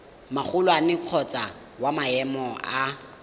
magolwane kgotsa wa maemo a